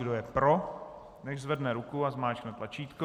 Kdo je pro, nechť zvedne ruku a zmáčkne tlačítko.